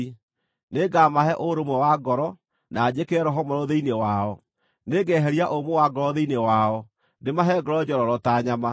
Nĩngamahe ũũrũmwe wa ngoro, na njĩkĩre roho mwerũ thĩinĩ wao; nĩngeheria ũmũ wa ngoro thĩinĩ wao ndĩmahe ngoro njororo ta nyama.